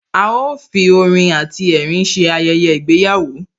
A ó fi orin àti ẹ̀rín ṣe Ayẹyẹ ìgbéyàwó